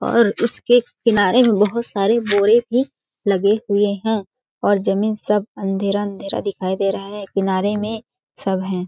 और उसके किनारे में बहुत सारे बोरे भी लगे हुए है और ज़मीन सब अँधेरा-अँधेरा दिखाई दे रहा है किनारे में सब है।